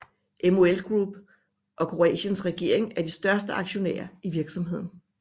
MOL Group og Kroatiens regering er de største aktionærer i virksomheden